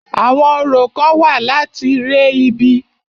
Àwọn orò kán wà láti re ibi.